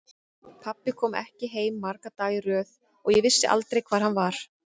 Pabbi kom ekki heim marga daga í röð og ég vissi aldrei hvar hann var.